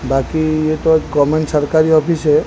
बाकी ये तो एक कॉमन सरकारी ऑफिस है।